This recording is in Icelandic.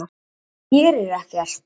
Hann gerir ekkert!